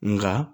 Nga